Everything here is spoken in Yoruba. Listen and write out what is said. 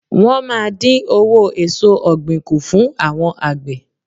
Wọ́́n máa dín owó èsò ọ̀gbìn kù fún àwọn àgbẹ̀.